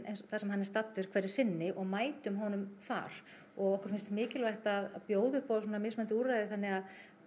þar sem hann er staddur hverju sinni og mætum honum þar og okkur finnst mikilvægt að bjóða upp á svona mismunandi úrræði þannig